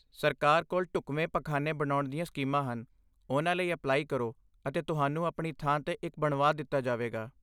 ਸਰਕਾਰ ਕੋਲ ਢੁਕਵੇਂ ਪਖਾਨੇ ਬਣਾਉਣ ਦੀਆਂ ਸਕੀਮਾਂ ਹਨ, ਉਨ੍ਹਾਂ ਲਈ ਅਪਲਾਈ ਕਰੋ ਅਤੇ ਤੁਹਾਨੂੰ ਆਪਣੀ ਥਾਂ 'ਤੇ ਇਕ ਬਣਵਾ ਦਿੱਤਾ ਜਾਵੇਗਾ।